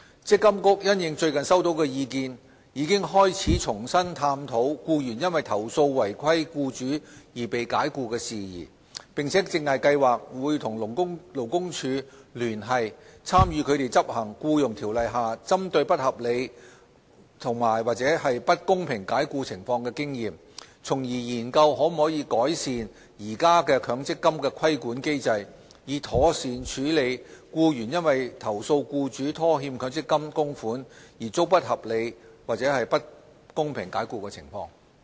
積金局因應最近收到的意見，已開始重新探討僱員因投訴違規僱主而被解僱的事宜，並正計劃與勞工處聯繫，參考他們執行《僱傭條例》下針對不合理及/或不公平解僱情況的經驗，從而研究可否改善現行強積金規管機制，以妥善處理僱員因投訴僱主拖欠強積金供款而遭不合理及/或不公平解僱的情況。